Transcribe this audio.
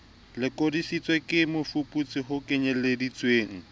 lokodisitsweng ke mofuputsi ho kenyeleditswe